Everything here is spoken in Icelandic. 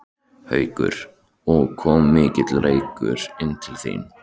Haukur: Og kom mikill reykur inn til þín?